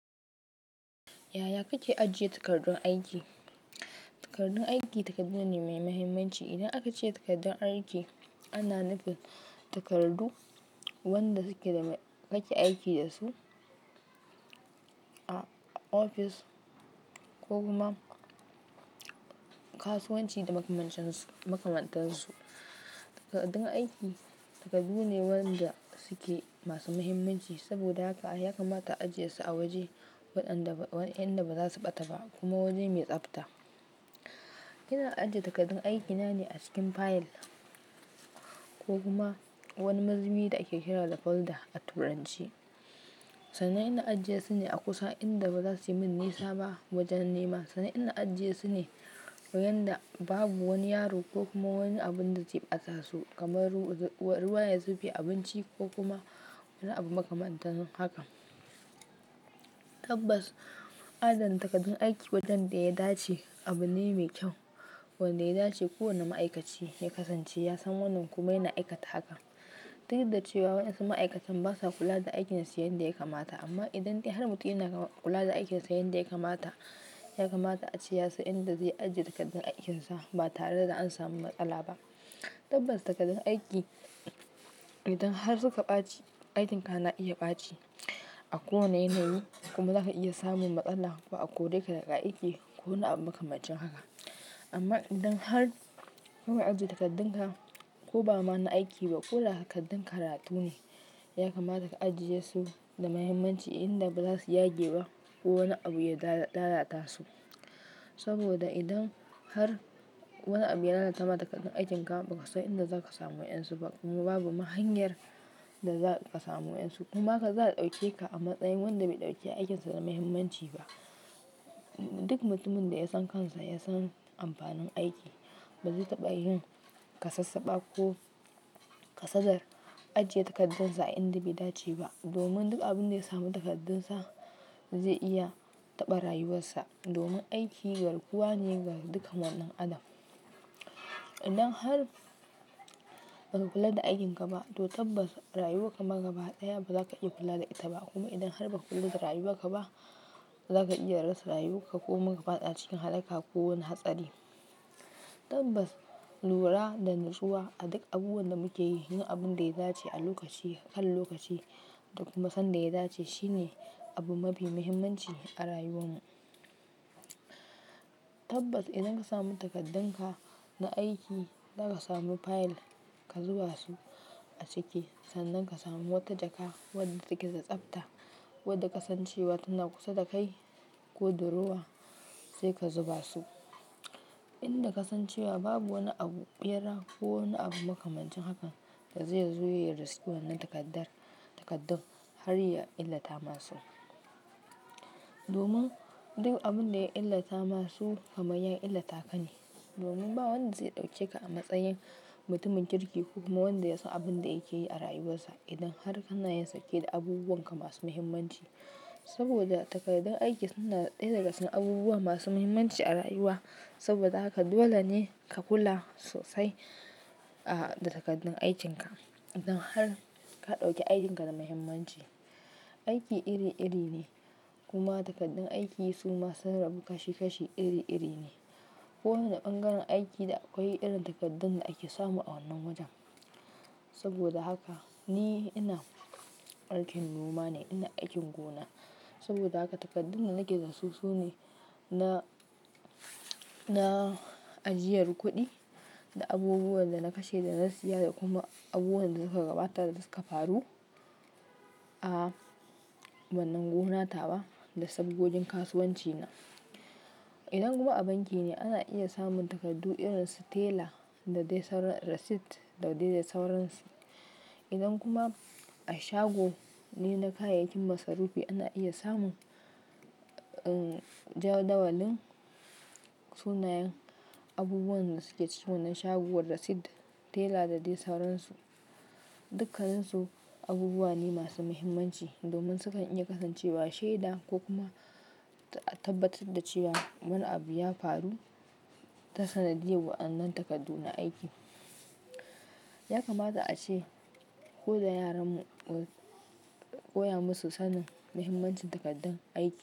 Yaya kake ajiye takardun aiki? Takardun aiki takardu ne mai mahimmanci. Idan aka ce takardun aiki, ana nufin takardu wanda suke da me kake aiki dasu a ofis ko kuma kasuwanci da makamancinsi makamantan su. Takaddun aiki takaddu ne wanda suke masu mahimmanci. Saboda haka ya kamata a ajiye su a waje wadanda wa'enda ba za su ɓata ba kuma waje mai tsabta. Ina ajiye takardun aikina ne a cikin fayil ko kuma wani mazubi da ake kira da folder a turance Sanan inna ajiyesu ne a kusa inda ba za su min nisa ba wajan nema. Sanan ina ajiyesu ne yan da babu wani yaro ko kuma wani abun da zai ɓata su kamar ruwa ya zube abinci ko kuma wani abu makamantan hakan. Tabbas adana takardun aiki wajan da ya dace abu ne mai kyau. Wanda ya dace kowane ma'aikaci ya kasance ya san wannan kuma yana aikata hakan. Ta yadda cewa wa'ensu ma'aikatan basa kula da aikinsu yanda ya kamata. Amma idan de har mutum yana kula da aikinsa yanda ya kamata, ya kamata a ce yasan inda zai ajiye takardun aikinsa ba tare da an samu matsala ba. Tabbas takardun aiki idan har suka ɓaci, aikinka na iya ɓaci a ko wane yanayi. Kuma zaka iya samun matsala ko a kore ka daga aiki ko wani abu makamancin haka. Amma idan har ka na ajiye takardunka, ko ba ma na aiki ba, ko da takaddun karatu ne, ya kamata ka ajiye su da muhimmanci inda ba za su yage ba ko wani abu ya lalata su. Saboda idan har wani abu ya lalata ma takardun aikin ka, ba kasan inda zaka samu waƴan su ba kuma babu mahanyar da za ka samu waƴan su. Kuma ka za a ɗauke ka a matsayin wanda bai ɗauki aikinsa da muhimmanci ba. Duk mutumin da ya san kansa ya san amfanin aiki ba zai taɓa yin ka sassaba ko ka sadar ajiye takardunsa a inda be dace ba. Domin duk abin da ya samu takardunsa zai iya taɓa rayuwarsa. Domin aiki garguwa ne ga dukkan wani dan adam. Idan har ba ka kula da aikin ka ba to tabbas rayuwarka ma gaba ɗaya ba za ka iya kula da ita ba. Kuma idan har ba ka kula da rayuwarka ba, za ka iya rasa rayuwarka ko kuma ka fada cikin halaka ko wani hatsari. Tabbas lura da nutsuwa, aduk abubuwan da muke yi, yin abun da ya dace a lokaci kan lokaci da kuma san da ya dace shine abu mafi muhimmanci a rayuwar mu. Tabbas idan ka samu takardunka na aiki, za ka samu fayil ka zuba su a ciki. Sannan ka samu wata jaka wadda take da tsabta wadda kasancewa tana kusa da kai ko da ruwa sai ka zuba su. Inda kasancewa babu wani abu ɓera ko wani abu makamancin haka da zai zo ya riski wannan takardar takardun har ya illata masu. Domin du abin da ya illata masu kamay ya illata ka ne. Domin ba wanda zai ɗauke ka a matsayin mutumin kirki ko kuma wanda ya san abin da yake yi a rayuwarsa. Idan har kana yansake da abubuwan ka masu muhimmanci. Saboda takardun aiki suna ɗaya daga cikin abubuwa masu muhimmanci a rayuwa. Saboda haka dole ne ka kula sosai, ah, da takardun aikin ka idan har ka ɗauki aikin ka da muhimmanci. Aiki iri iri ne kuma takardun aiki su masun rabu kashi kashi iri iri ne. Ko wane bangaren aiki da akwai irin takaddun da ake samu a wannan wajen. Saboda haka ni ina aikin noma ne, ina aikin gona. Saboda haka takaddun da nake da su su ne, na, na ajiyar kuɗi da abubuwan da na kashe da na siya da kuma abubuwan da suka gabata da suka faru a wannan gonata wa da sabgojin kasuwanci na. Idan kuma a banki ne, ana iya samun takardu irin su tela da dai sauran receipt da dai sauransu. Idan kuma a shago ne na kayayyakin masarufi, ana iya samun, uhn, jadawalin sunayen abubuwan da suke cikin wannan shagon receipt, tela da dai sauransu. Duk kaninsu abubuwa ne masu muhimmanci domin sukan iya kasancewa shaida ko kuma a tabbatad da cewa wani abu ya faru ta sanadiyar waƴannan takaddu na aiki. Ya kamata a ce ko da yaran mu, koya masu sanin muhimmancin takaddun aiki.